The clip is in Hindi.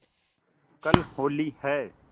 कल होली है